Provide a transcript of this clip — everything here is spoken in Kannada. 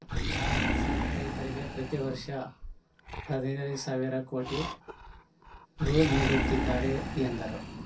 ಸಣ್ಣ ರೈತರಿಗೆ ಪ್ರತಿ ವರ್ಷ ಹದಿನೈದು ಸಾವಿರ ಕೋಟಿ ರುನೀಡುತ್ತಿದ್ದಾರೆ ಎಂದರು